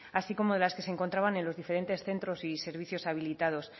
así como de las que se encontraban en los diferentes centros y servicios habilitados